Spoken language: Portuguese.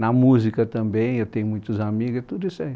Na música também, eu tenho muitos amigos, tudo isso é